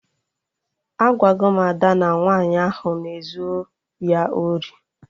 Agwago m Ada na nwaanyị ahụ na ezu ya ori